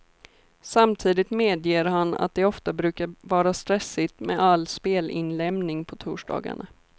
Samtidigt medger han att det ofta brukar vara stressigt med all spelinlämning på torsdagarna.